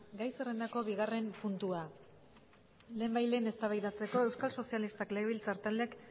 gai zerrendako bigarren puntua lehenbailehen eztabaidatzeko euskal sozialistak legebiltzar taldeak